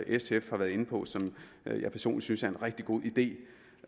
sf har været inde på og som jeg personligt synes er en rigtig god idé